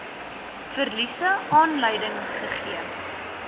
verliese aanleiding gegee